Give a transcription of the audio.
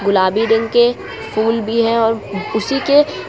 गुलाबी रंग के फूल भी है और उसी के--